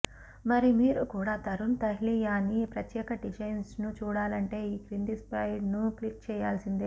మరి మీరు కూడా తరుణ్ తహ్లియానీ ప్రత్యేక డిజైన్స్ ను చూడాలంటే ఈ క్రింది స్లైడ్ ను క్లిక్ చేయాల్సిందే